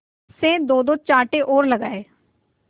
से दोदो चांटे और लगाए